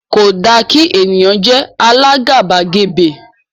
kò dá kí ènìyàn jé àlà àgàbàgebè